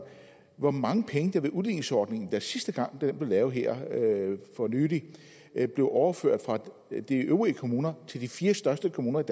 hvor mange penge der ved udligningsordningen sidste gang den blev lavet her for nylig blev overført fra de øvrige kommuner til de fire største kommuner